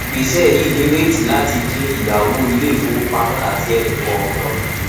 ìgbésẹ yìí nírètí láti din ìyáwó iléìfowópamọ àti ẹnikọọkan kù